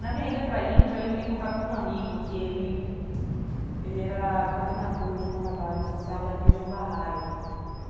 Na minha ida para a Índia, eu entrei em contato com um amigo, que ele ele era coordenador de um trabalho social da religião Bahá'í.